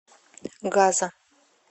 газа